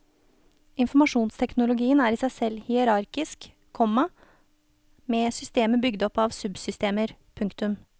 Informasjonsteknologien er i seg selv hierarkisk, komma med systemer bygd opp av subsystemer. punktum